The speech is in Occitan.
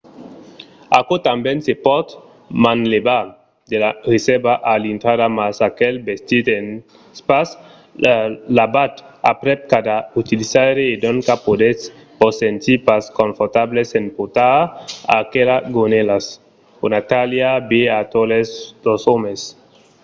aquò tanben se pòt manlevar de la resèrva a l‘intrada mas aquel vestit es pas lavat aprèp cada utilizaire e doncas podètz vos sentir pas confortables en portar aquelas gonèlas. una talha va a totes los òmes!